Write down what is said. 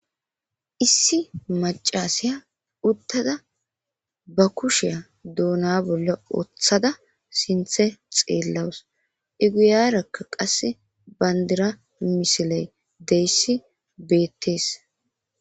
Issi macasaya uttada ba kusheya duuna bolla ooththada sinthe xeellawus eguyarakka qasse bayndira misiley deyssi beettees.